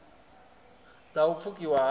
dz a u pfukiwa ha